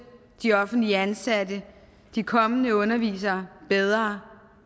de offentligt ansatte de kommende undervisere bedre